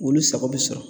Olu sago bɛ sɔrɔ